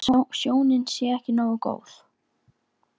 En sjónin sé ekki nógu góð.